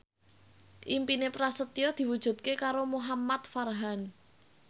impine Prasetyo diwujudke karo Muhamad Farhan